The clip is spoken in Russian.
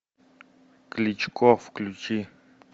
кличко включи